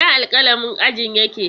Ina alƙalamin ajin yake?